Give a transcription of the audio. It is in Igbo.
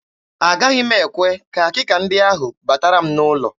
Agaghị m ekwe ka akịka ndị ahụ batara m n'ụlọ.